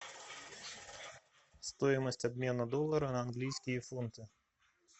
стоимость обмена доллара на английские фунты